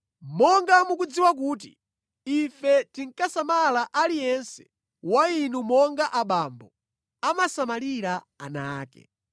Monga mudziwa kuti ife tinkasamala aliyense wa inu monga abambo amasamalira ana ake,